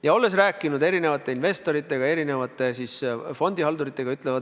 Ma olen rääkinud erinevate investoritega, erinevate fondihalduritega.